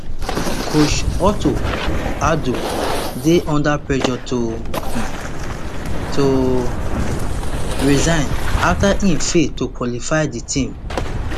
coach otto addo dey under pressure to um to um resign afta im fail to qualify di team